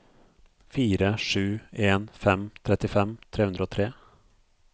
fire sju en fem trettifem tre hundre og tre